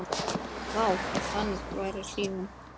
Vá, ef hann væri hrífan!